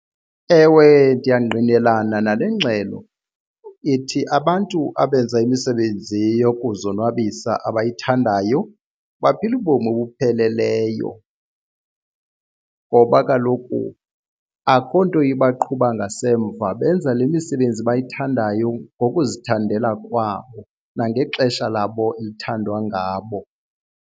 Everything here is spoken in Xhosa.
Ewe ndiyangqinelana nale ngxelo ithi abantu abenza imisebenzi yokuzonwabisa abayithandayo baphila ubomi obupheleleyo. Ngoba kaloku akukho nto ibaqhuba ngasemva benza le misebenzi bayithandayo ngokuzithandela kwabo nangexesha labo elithandwa ngabo.